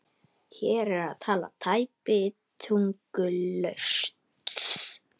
Hér er talað tæpitungulaust